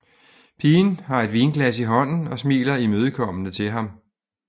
Pigen har et vinglas i hånden og smiler imødekommende til ham